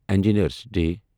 engineers day